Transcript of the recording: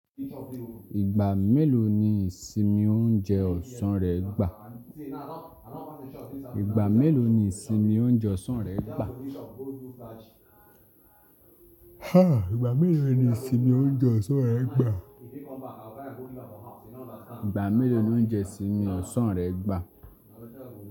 Ìgbà mélòó ni isimi óunjẹ ọsàn rẹ̀ gbà? Ìgbà mélòó ni Simi ó ń jẹ ọsàn rẹ̀ gbà? A! Ìgbà mélòó ni Simi óunje ọsàn rẹ̀ gbà? Ìgbà mélòó ni óunje isimi ọsàn rẹ̀ gbà?